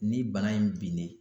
Ni bana in binnen